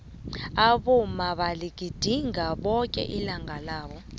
abomma baligidinga bonke ilanga labo